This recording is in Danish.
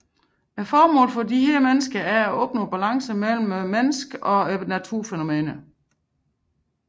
Formålet for disse personer er at opnå balance mellem menneskene og naturens fænomener